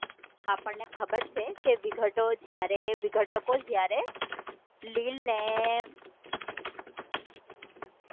આપણને ખબર છે વિઘતો જયારે વિઘટકો લીલ